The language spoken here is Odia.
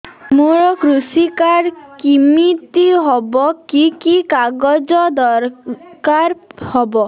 ମୋର କୃଷି କାର୍ଡ କିମିତି ହବ କି କି କାଗଜ ଦରକାର ହବ